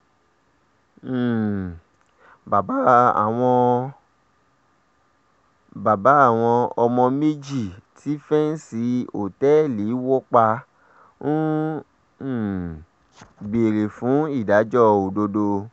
um bàbá àwọn bàbá àwọn ọmọ méjì tí fẹ́ǹsì òtẹ́ẹ̀lì wọ̀ pa ń um béèrè fún ìdájọ́ òdodo